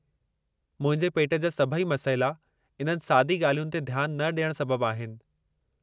मुंहिंजे पेट जा सभई मसइला इन्हनि सादी ॻाल्हियुनि ते ध्यानु न ॾियण सबब आहिनि।